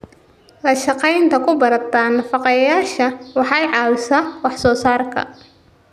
La shaqaynta khubarada nafaqeeyayaasha waxay ka caawisaa wax soo saarka.